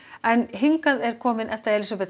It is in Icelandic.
hingað er komin Edda Elísabet